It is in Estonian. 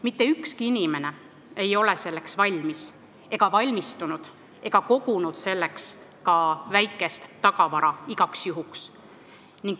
Mitte ükski inimene ei ole selleks valmis ega valmistunud ja keegi ei ole kogunud igaks juhuks selliseks asjaks väikest tagavara.